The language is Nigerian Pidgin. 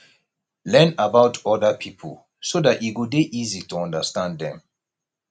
learn about oda pipo so dat e go dey easy to understand dem